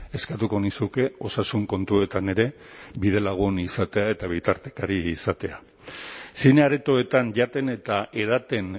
eskatuko nizuke osasun kontuetan ere bidelagun izatea eta bitartekari izatea zine aretoetan jaten eta edaten